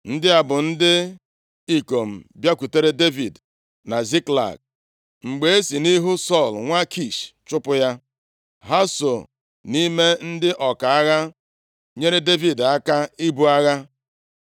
Ndị a bụ ndị ikom bịakwutere Devid na Ziklag, mgbe e si nʼihu Sọl nwa Kish chụpụ ya. (Ha so nʼime ndị ọka agha nyeere Devid aka ibu agha.